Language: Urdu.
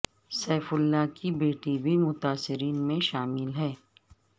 سیف اللہ کی بیٹی بھی متاثرین میں شامل ہیں